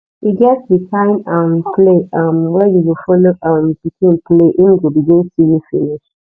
e get di kind um play um wey you go follow um pikin play im go begin see you finish